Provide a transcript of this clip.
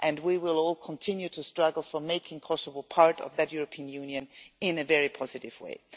We will all continue to struggle to make Kosovo part of that European Union in a very positive way.